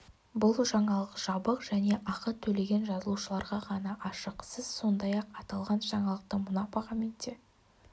бұл жаңалық жабық және ақы төлеген жазылушыларға ғана ашық сіз сондай-ақ аталған жаңалықты мына бағамен де